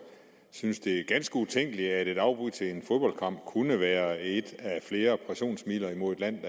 synes det er ganske utænkeligt at et afbud til en fodboldkamp kunne være et af flere pressionsmidler mod et land